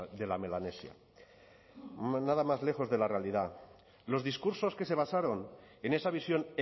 de la melanesia nada más lejos de la realidad los discursos que se basaron en esa visión